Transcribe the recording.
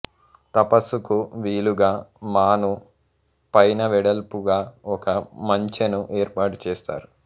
తపస్సుకు వీలుగా మాను పైనవెడల్పుగా ఒక మంచెను ఏర్పాటు చేస్తారు